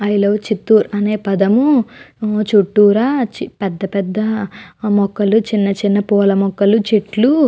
I love Chittoor అనే పదము చుట్టూరా చ్ పెద్ద పెద్ద మొక్కలు చిన్న చిన్న పూల మొక్కలు చెట్లు --